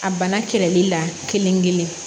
A bana kɛlɛli la kelen-kelen